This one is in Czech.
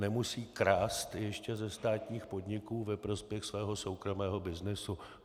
Nemusí krást ještě ze státních podniků ve prospěch svého soukromého byznysu.